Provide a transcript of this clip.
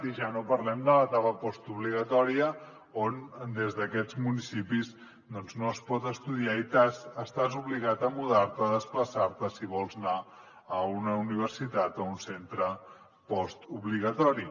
i ja no parlem de l’etapa postobligatòria on des d’aquests municipis doncs no es pot estudiar i estàs obligat a mudar te o a desplaçar te si vols anar a una universitat o un centre postobligatori